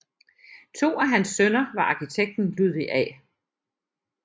To af hans sønner var arkitekten Ludvig A